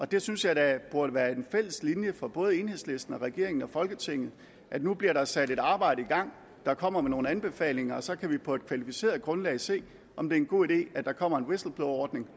det synes jeg da burde være en fælles linje for både enhedslisten og regeringen og folketinget nu bliver der sat et arbejde i gang der kommer med nogle anbefalinger og så kan vi på et kvalificeret grundlag se om det er en god idé at der kommer en whistleblowerordning